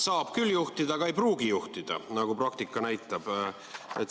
Saab küll juhtida, aga ei pruugita juhtida, nagu praktika näitab.